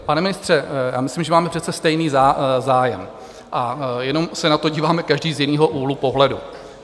Pane ministře, já myslím, že máme přece stejný zájem a jenom se na to díváme každý z jiného úhlu pohledu.